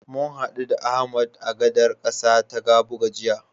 Mun haɗu da Ahmad a gadar ƙasa ta Kabuga jiya.